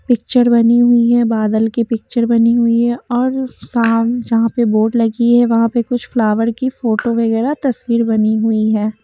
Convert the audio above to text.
Picture बनी हुई है बादल की पिक्चर बनी हुई है और शाम यहां पे बोर्ड लगी है वहां पे कुछ फ्लावर की फोटो वगैरह तस्वीर बनी हुई है।